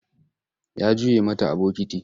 Ya juye mata a bokiti.